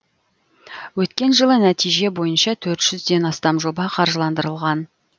өткен жылы нәтиже бойынша төрт жүзден астам жоба қаржыландырылған